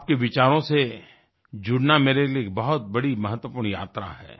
आपके विचारों से जुड़ना मेरे लिए एक बहुत बड़ी महत्वपूर्ण यात्रा है